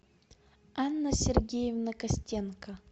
анна сергеевна костенко